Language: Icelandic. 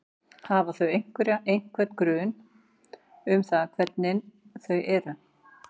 Hafa þau einhverja, einhvern grun um það hvernig hvernig þau eru?